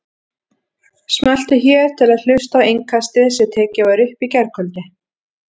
Smelltu hér til að hlusta á Innkastið sem tekið var upp í gærkvöldi